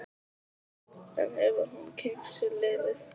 En hefur hún kynnt sér liðið?